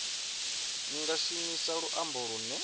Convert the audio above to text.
ni nga shumisa luambo lune